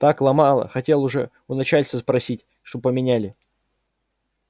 так ломало хотел уже у начальства спросить что поменяли